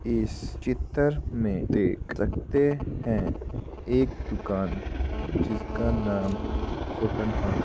इस चितर में देख सकते हैं एक दुकान जिसका नाम कॉटन हाउस --